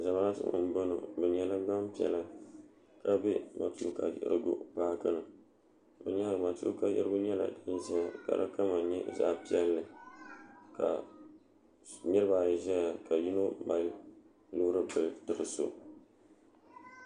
zamaatu n boŋo bi nyɛla gbanpiɛla ka bɛ matuuka yiɣirigu paaki ni bi nyaanga matuuka yiɣirigu nyɛla din ʒɛya ka di kama nyɛ zaɣ piɛlli ka niraba ayi ʒɛya ka yino mali loori bili tiri so